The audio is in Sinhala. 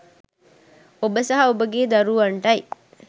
ඔබ සහ ඔබගේ දරුවන්ටයි.